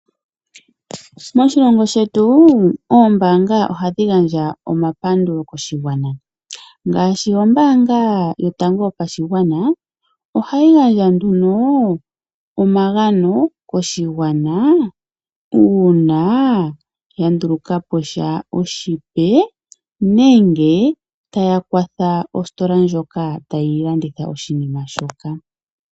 Moshilongo shetu oombaanga ohadhi gandja omapandulo koshigwana ngaashi ombaanga yotango yopashigwana ohayi gandja nduno omagano koshigwana uuna ya nduluka po sha oshipe nenge tayi kwatha ositola ndjoka tayi landitha oshinima shoka.